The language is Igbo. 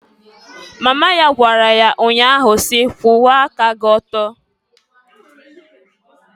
Mama ya gwara ya nnya ahụ si, "Kwuwa aka gị ọtọ!"